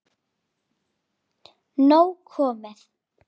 Nóg komið